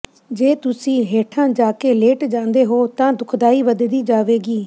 ਜੇ ਤੁਸੀਂ ਹੇਠਾਂ ਜਾ ਕੇ ਲੇਟ ਜਾਂਦੇ ਹੋ ਤਾਂ ਦੁਖਦਾਈ ਵਧਦੀ ਜਾਵੇਗੀ